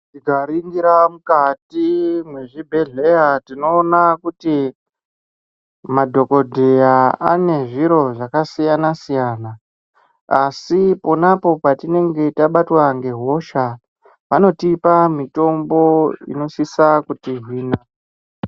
Ttikaringira mukati mezvibhehleya tinoona kuti madhokodheya ane zviro zvakasiyana siyana asi ponapo petinenge tabatwa ngehosha vanotipa mitombo inosisa kutihina.